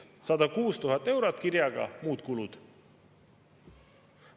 106 000 eurot kirjaga "muud kulud"!